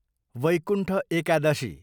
Vaikuntha Ekadashi